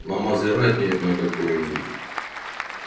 на мазератти на какое-нибудь